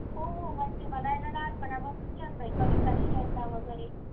हो हो म्हणजे मला हाय ना लहानपणापासून छंद आहे कविता लिहिण्याचा वेगेरे